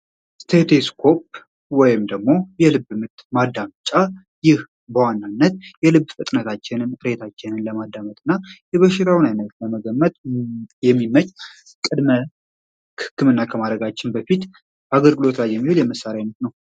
ስቴቲስኮፕ ወይም ደግሞ የልብ ምት ማዳምጫ ይህ በዋናነት የልብ ፍጥነታችንን ዕሬታችንን ለማዳመት እና የበሽታውን ዓይነት ለመገመት የሚመች ቀድመ ህክምና ከማረጋችን በፊት አገልግሎት ላይ የሚውል የመሣሪያ አይነት ነው።